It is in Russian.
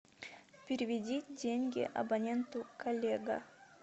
переведи деньги абоненту коллега